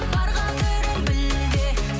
бар қадірін біл де